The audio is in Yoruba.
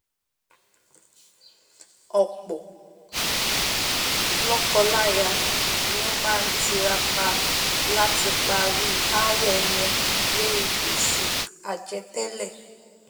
ọ̀pọ̀ lọ́kọ láyà ni ó má tiraka láti parí aáwọ̀ wọn lóri gbèsè àjẹ tẹ́lẹ̀